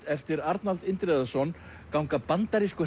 eftir Arnald Indriðason ganga bandarískur